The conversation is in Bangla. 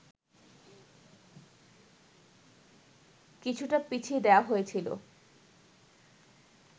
কিছুটা পেছিয়ে দেওয়া হয়েছিল